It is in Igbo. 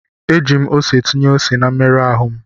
Eji m ose tinye ose na mmerụ ahụ m.